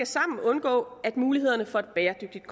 sammen undgå at mulighederne for et bæredygtigt